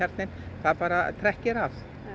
það bara trekkir að